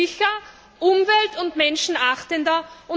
Sie sind sicher und umwelt und menschenachtender.